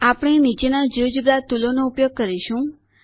આપણે નીચેના જિયોજેબ્રા ટુલોનો ઉપયોગ કરીશું